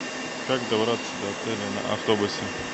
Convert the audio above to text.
как добраться до отеля на автобусе